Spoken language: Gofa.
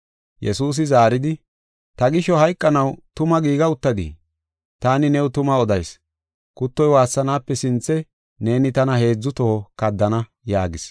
Yesuusi zaaridi, “Ta gisho hayqanaw tuma giiga uttadii? Taani new tuma odayis; kuttoy waassanaape sinthe neeni tana heedzu toho kaddana” yaagis.